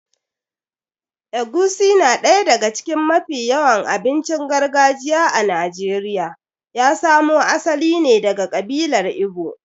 Egusi na daya daga cikin mafi yawan abincin gargajiya a Najeriya ya samo asali ne daga ƙabilar Igbo.